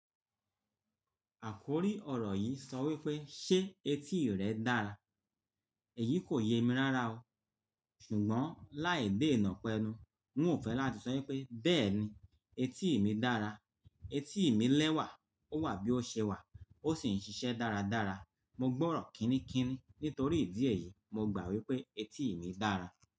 Àkòrí ọ̀rọ̀ yìí sọ wípé "ṣé etí rẹ dára?" èyí kò ye mi rára o, ṣùgbọ́n láì dé ìnàpẹnu, n ò fẹ́ láti sọ wípé "bẹ́ẹ̀ni, etí mi dára, etí mi lẹ́wà, ó wà bí ó ṣe wà, ó sì ń ṣiṣẹ́ dáradára, mo gbọ́rọ̀ kíníkíní Nítorí ìdí èyí, mo gbà wípé etí mi dára.